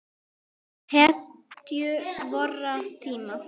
Hetju vorra tíma.